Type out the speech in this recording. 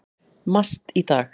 MAST í dag.